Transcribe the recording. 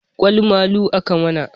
Ƙwal malu aka mun